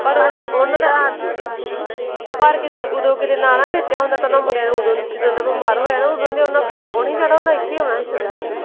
ਪਰ ਕੀਦੁ ਓਦੋਂ ਕਿਤੇ ਨਾ ਨਾ ਵੇਚਿਆ ਹੁੰਦਾ ਤਾਂ ਓਹਨਾ ਮੁੰਡਿਆਂ ਨੇ ਓਦੋਂ ਜਦੋਂ ਦਾ ਬਿਮਾਰ ਹੋਇਆ ਓਦੋਂ ਇਥੇ ਆਉਣਾ ਸੀ ਓਦੋਂ ਦੀ ਓਹਨਾ ਨੇ ਭੂਆ ਕੋਲ ਨਹੀਂ ਸੀ ਜਾਣਾ ਓਹਨਾ ਇਥੇ ਆਉਣਾ ਸੀ ਸਿੱਧਾ।